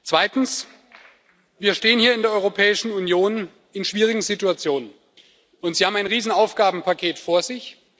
Zweitens Wir stehen hier in der Europäischen Union in schwierigen Situationen, und Sie haben ein Riesenaufgabenpaket vor sich.